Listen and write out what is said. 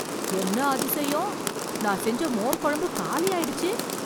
என்ன அதிசியம், நான் செஞ்ச மோர் குழம்பு காலி ஆயிடுச்சு.